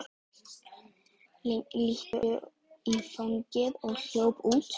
Lindu í fangið og hljóp út.